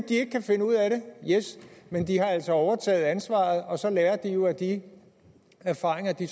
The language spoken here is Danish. ikke kan finde ud af det men de har altså overtaget ansvaret og så lærer de jo af de erfaringer de